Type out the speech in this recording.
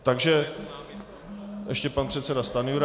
Takže ještě pan předseda Stanjura.